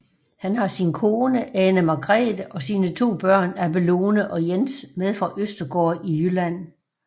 Han har sin kone Ane Margrethe og sine to børn Abelone og Jens med fra Østergaard i Jylland